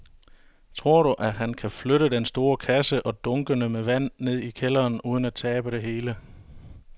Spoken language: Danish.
Tror du, at han kan flytte den store kasse og dunkene med vand ned i kælderen uden at tabe det hele?